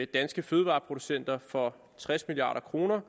danske fødevareproducenter for tres milliard kr